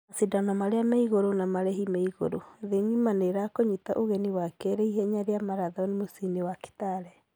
Mashidano marĩa me igũru na marĩhi meĩgurũ thĩ ngima nĩ ĩrakunyita ũgeni wakerĩ ihenya rĩa marathon mũciĩ wa kitale.